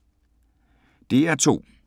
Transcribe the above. DR2